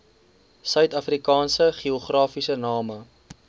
suidafrikaanse geografiese name